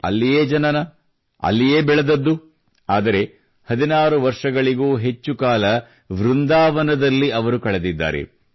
ಅಲ್ಲಿಯೇ ಜನನ ಅಲ್ಲಿಯೇ ಬೆಳೆದದ್ದು ಆದರೆ 16 ವರ್ಷಗಳಿಗೂ ಹೆಚ್ಚು ಕಾಲ ವೃಂದಾವನದಲ್ಲಿ ಅವರು ಕಳೆದಿದ್ದಾರೆ